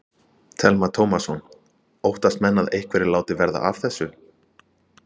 Telma Tómasson: Óttast menn að einhverjir láti verða af þessu?